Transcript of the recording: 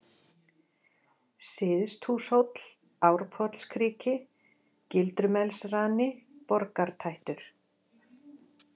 Syðsthúshóll, Árpollskriki, Gildrumelsrani, Borgartættur